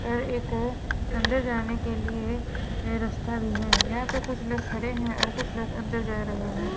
और एक अ अंदर जाने के लिए रस्ता भी है यहां पे कुछ लोग खड़े हैं और कुछ लोग अंदर जा रहे हैं।